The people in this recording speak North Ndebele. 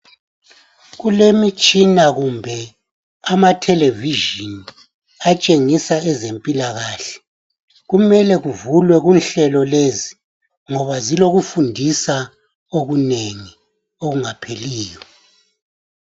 Kulemitshina kumbe amatelevision atshengisa ezempilakahle kumele kuvulwe inhlelo lezi ngoba zilokufundisa okunengi okungapheliyo.